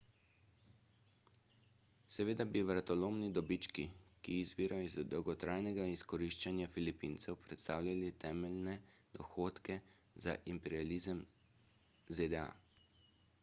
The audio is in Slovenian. seveda bi vratolomni dobički ki izvirajo iz dolgotrajnega izkoriščanja filipincev predstavljali temeljne dohodke za imperializem zda